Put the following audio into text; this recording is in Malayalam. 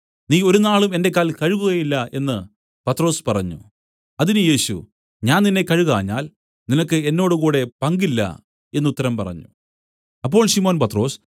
നീ ഒരുനാളും എന്റെ കാൽ കഴുകുകയില്ല എന്നു പത്രൊസ് പറഞ്ഞു അതിന് യേശു ഞാൻ നിന്നെ കഴുകാഞ്ഞാൽ നിനക്ക് എന്നോടുകൂടെ പങ്കില്ല എന്നു ഉത്തരം പറഞ്ഞു അപ്പോൾ ശിമോൻ പത്രൊസ്